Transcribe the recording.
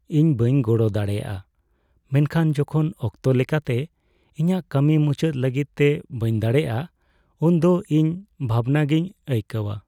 ᱤᱧ ᱵᱟᱹᱧ ᱜᱚᱲᱚ ᱫᱟᱲᱮᱭᱟᱜᱼᱟ ᱢᱮᱱᱠᱷᱟᱱ ᱡᱚᱠᱷᱚᱱ ᱚᱠᱛᱚ ᱞᱮᱠᱟᱛᱮ ᱤᱧᱟᱹᱜ ᱠᱟᱹᱢᱤ ᱢᱩᱪᱟᱹᱫ ᱞᱟᱹᱜᱤᱫ ᱛᱮ ᱵᱟᱹᱧ ᱫᱟᱲᱮᱹᱭᱟᱜᱼᱟ, ᱩᱱ ᱫᱚ ᱤᱧ ᱵᱷᱟᱵᱽᱱᱟᱜᱤᱧ ᱟᱹᱭᱠᱟᱹᱣᱟ ᱾